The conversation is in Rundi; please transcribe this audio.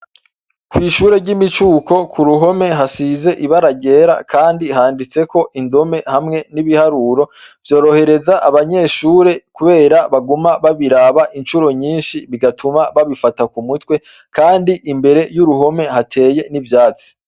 Kw'ishure ryimicuko kuruhome hasize ibara ryera, Kandi handitseko indome hamwe nibiharuro vyorohereza abanyeshure ,Kubera baguma babiraba incuro nyinshi bigatuma babifata kumutwe kandi Imbere yuruhome hateye ivyatsi.